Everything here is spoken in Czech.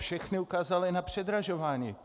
Všechny ukázaly na předražování!